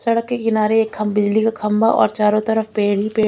सड़क के किनारे एक खम बिजली का खम्बा और चारो तरफ पेड़ ही पेड़--